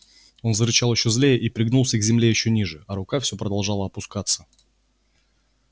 он зарычал ещё злее и пригнулся к земле ещё ниже а рука все продолжала опускаться